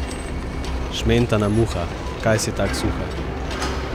Šmentana muha, kaj si tak suha?